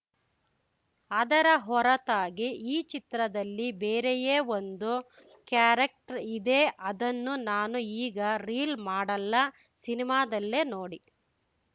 ಅದರ ಹೊರತಾಗಿ ಈ ಚಿತ್ರದಲ್ಲಿ ಬೇರೆಯೇ ಒಂದು ಕ್ಯಾರೆಕ್ಟರ್‌ ಇದೆ ಅದನ್ನು ನಾನು ಈಗ ರೀಲ್‌ ಮಾಡಲ್ಲ ಸಿನಿಮಾದಲ್ಲೇ ನೋಡಿ